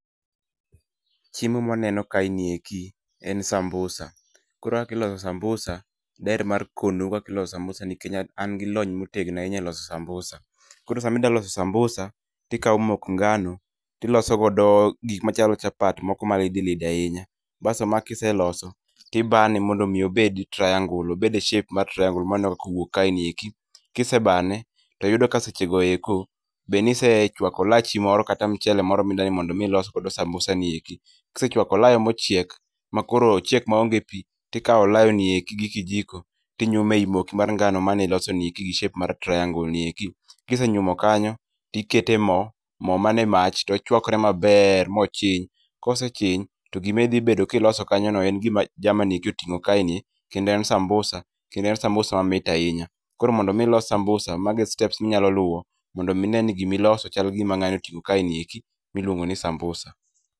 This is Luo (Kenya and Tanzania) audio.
Chiemo ma waneno kae ni eki en sambusa, koro kaka iloso sambusa, daher mar kono u kaka iloso sambusa nikech an gi lony motegno ahinya e loso sambusa. Koro sama ida loso sambusa to ikao mok ngano, tiloso godo gik machalo chapat moko ma lidi lidi ahinya. Baso ma kiseloso, tibane mondo mi obed triangle obed e shape mar triangle ma aneno kaka owuok kae ni eki. Kisebane to yudo ka seche go eko be nisechwako olachi moro kata mchele moro mida ni mondo mi ilos godo sambusa ni eki. Kisechwako olayo mochiek ma koro ochiek ma onge pi tikao olayo ni eko gi kijiko tinyume ei moki mar ngano mane iloso ni eki gi shape mar triangle ni eki. Kisenyumo kanyo to ikete e mo mo man e mach to ochwakre maber mochiny. Kosechiny, to gima idhi bedo ka iloso kanyo no en gima jama ni eki oting'o kae ni kendo en sambusa kendo en sambusa mamit ahinya. Koro mondo mi ilos sambusa mago e steps minyalo luo mondo mi ine ni gima iloso chal gi gima ng'ani oting'o kae ni eki miluongo ni sambusa.